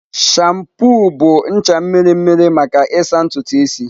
Shampoo bụ ncha mmiri mmiri maka ịsa ntutu isi.